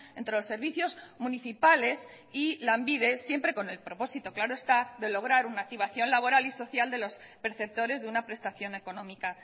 entre los servicios municipales y lanbide siempre con el propósito claro está de lograr una activación laboral y social de los perceptores de una prestación económica